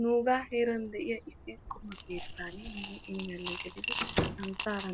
Nuuga heeran de'iya qumaa keettan santtara